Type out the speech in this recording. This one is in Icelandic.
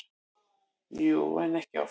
Jú, en ekki oft.